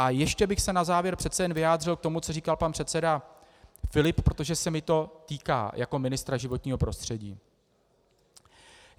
A ještě bych se na závěr přece jen vyjádřil k tomu, co říkal pan předseda Filip, protože se mě to týká jako ministra životního prostředí.